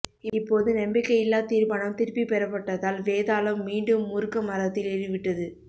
இப்போது நம்பிக்கையில்லாத் தீர்மானம் திருப்பிப் பெறப்பட்டதால் வேதாளம் மீண்டும் முருக்க மரத்தில் ஏறிவிட்டது